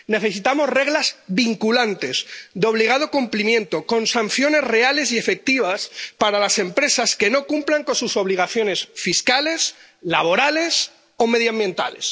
Necesitamos reglas vinculantes, de obligado cumplimiento, con sanciones reales y efectivas para las empresas que no cumplan con sus obligaciones fiscales, laborales o medioambientales.